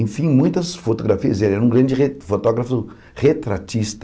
Enfim, muitas fotografias, ele era um grande re fotógrafo retratista.